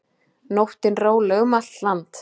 Nóttin róleg um allt land